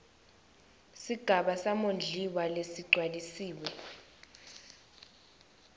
sigaba samondliwa lesigcwalisiwe